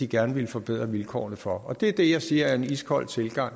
gerne at ville forbedre vilkårene for og det er det jeg siger er en iskold tilgang